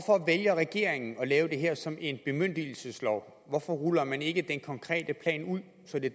regeringen at lave det her som en bemyndigelseslov hvorfor ruller man ikke den konkrete plan ud så det